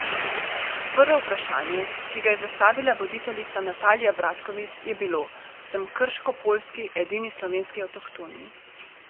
Prvo vprašanje, ki ga je zastavila voditeljica Natalija Bratkovič, je bilo: "Sem krškopoljski, edini slovenski avtohtoni.